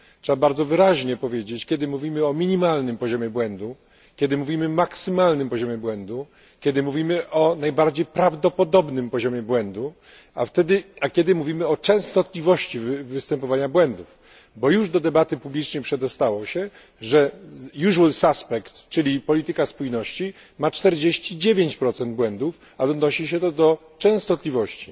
Trzeba bardzo wyraźnie powiedzieć, kiedy mówimy o minimalnym poziomie błędu, kiedy mówimy o maksymalnym poziomie błędu, kiedy mówimy o najbardziej prawdopodobnym poziomie błędu, a kiedy mówimy o częstotliwości występowania błędów, bo już do debaty publicznej przedostało się, że czyli polityka spójności ma 49 błędów, a odnosi się to do częstotliwości.